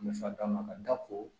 Nafa dama ka da ko